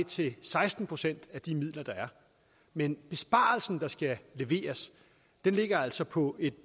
til seksten procent af de midler der er men besparelsen der skal leveres ligger altså på et